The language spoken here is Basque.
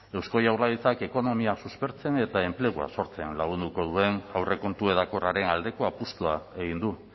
eusko jaurlaritzak ekonomia suspertzen eta enplegua sortzean lagunduko duen aurrekontu hedakorraren aldeko apustua egin du